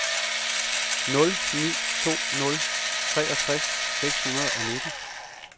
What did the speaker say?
nul ni to nul treogtres seks hundrede og nitten